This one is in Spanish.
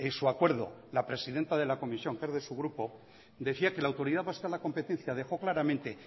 su acuerdo la presidenta de la comisión que es de su grupo decía que la autoridad vasca de la competencia dejó claramente